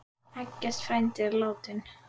Eggert frændi er látinn.